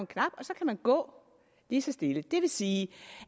knap og så kan man gå lige så stille det vil sige